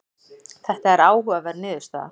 Þetta er áhugaverð niðurstaða.